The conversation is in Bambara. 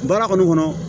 Baara kɔni kɔnɔ